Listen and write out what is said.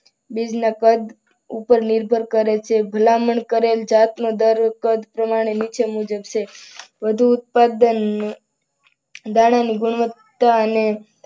ઉપર નિર્ભર કરે છે. ભલામણ કરેલ જાત નો દર કદ પ્રમાણે નીચે મુજબ છે. વધુ ઉત્પાદન નાણાંની ગુણવત્તા અને